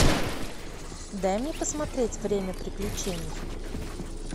дай мне посмотреть время приключений